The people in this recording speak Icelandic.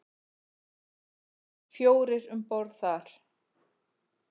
Fjórir um borð þar.